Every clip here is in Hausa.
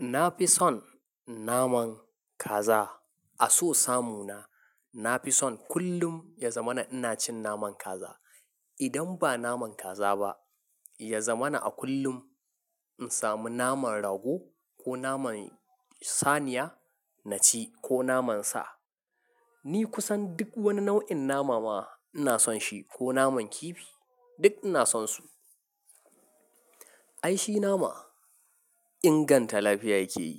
Na fi son naman kaza. A so samu na, na fi son kullum ya zama na ina cin naman kaza. Idan ba naman kaza ba, ya zama na a kullum in samu naman rago ko naman saniya na ci ko naman sa. Ni kusan duk wani nau'in nama ma ina son shi ko naman kifi duk ina son su. Ai shi nama inganta lafiya yake yi.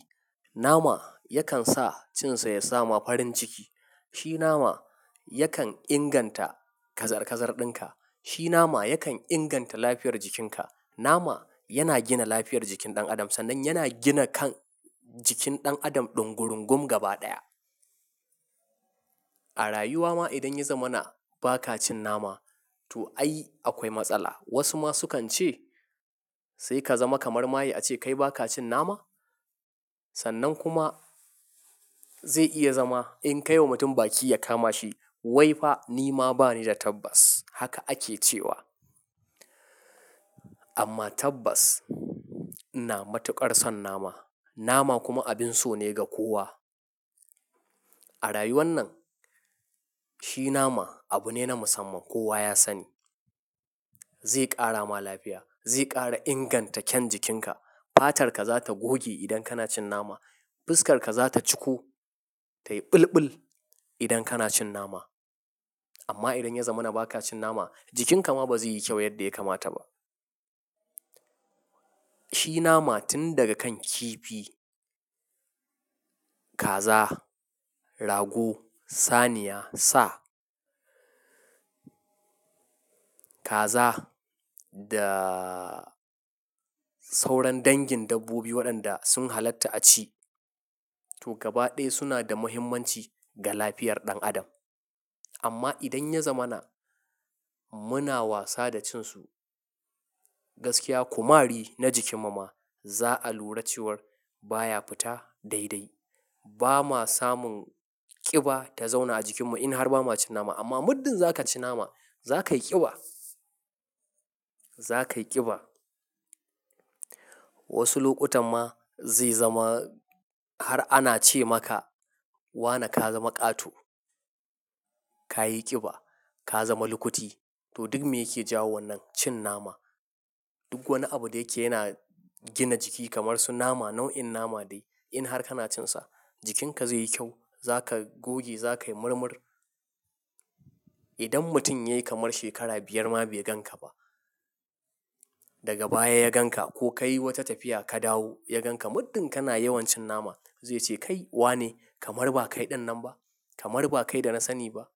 Nama yakan sa cin sa ya sa ma farin ciki. Shi nama yakan inganta kazar kazar ɗinka. Shi nama yakan inganta lafiyar jikinka. Nama yana gina lafiyar jikin ɗan adam sannan yana gina kan jikin ɗan adam ɗungurungum gaba ɗaya. A rayuwa ma idan ya zama na ba ka cin nama to ai akwai matsala. Wasu ma sukan ce "sai ka zama kamar maye ace kai ba ka cin nama?" Sannan kuma zai iya zama in kai wa mutum baki ya kama shi "wai fa ni ma bani da tabbas" haka ake cewa. Amma tabbas ina matuƙar son nama. Nama kuma abin so ne ga kowa. A rayuwan nan shi nama abu ne na musamman kowa ya sani. Zai ƙara ma lafiya, zai ƙara inganta kyan jikinka. Fatarka za ta goge idan kana cin nama. Fuskar ka za ta ciku tayi ɓulɓul idan kana cin nama. Amma idan ya zama na ba ka cin nama, jikinka ma ba zai yi kyau yadda ya kamata ba. Shi nama tun daga kan kifi, kaza, rago, saniya, sa, kaza da sauran dangin dabbobi waɗanda sun halatta a ci to gaba ɗaya suna da muhimmanci ga lafiyar ɗan adam. Amma idan ya zama na muna wasa da cin su gaskiya, kumari na jikin mu ma za a lura ciwar baya fita daidai. Ba ma samun ƙiba ta zauna a jikin mu in har ba ma cin nama amma muddin za ka ci nama za ka yi ƙiba, za ka yi ƙiba. Wasu lokutan ma zai zama har ana ce maka "wane ka zama ƙato, ka yi ƙiba, ka zama lukuti" to duk me yake jawo wannan cin nama. Duk wani abu da yake yana gina jiki kamar su nama, nau'in nama dai in har kana cin sa jikinka zai yi kyau. Za ka goge, za ka yi murmur. Idan mutum ya yi kamar shekara biyar ma bai gan ka ba, daga baya ya gan ka ko ka yi wata tafiya ka dawo ya gan ka muddin kana yawan cin nama zai ce "kai wane? Kamar ba kai ɗinnan ba. Kamar ba kai da na sani ba".